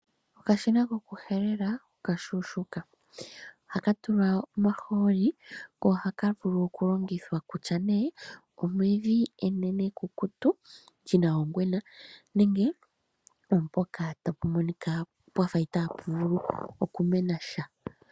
Okashina kokuhelela okashuushuka. Oha ka tulwa omaholi ko ohaka vulu okulongithwa kutya ne omevi enene ekukutu li na ongwena nenge ompoka tapu monika pwa fa ita pu vulu okumena sha.